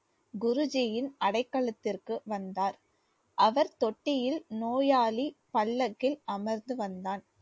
குருஜியின் அடைகளத்திற்கு வந்தார் அவர் தொட்டியில் நோயாளி பல்லக்கில் அமர்ந்து வந்தான்